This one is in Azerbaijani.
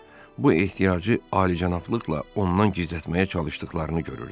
Bu ehtiyacı alicənablıqla ondan gizlətməyə çalışdıqlarını görürdü.